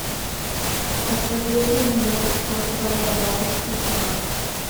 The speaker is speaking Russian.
посоветуй мне кто твоя бабушка чувак